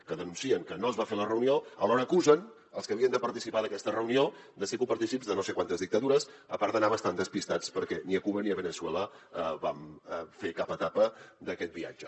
que denuncien que no es va fer la reunió alhora acusen els que havien de participar d’aquesta reunió de ser copartícips de no sé quantes dictadures a part d’anar bastant despistats perquè ni a cuba ni a veneçuela vam fer cap etapa d’aquest viatge